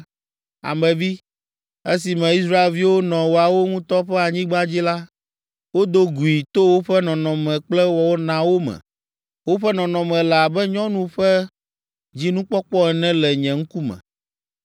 “Ame vi, esime Israelviwo nɔ woawo ŋutɔ ƒe anyigba dzi la, wodo gui to woƒe nɔnɔme kple wɔnawo me. Woƒe nɔnɔme le abe nyɔnu ƒe dzinukpɔkpɔ ene le nye ŋkume.